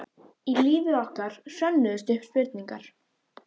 Í lífi okkar hrönnuðust upp spurningar.